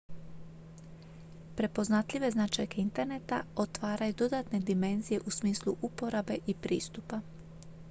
prepoznatljive značajke interneta otvaraju dodatne dimenzije u smislu uporabe i pristupa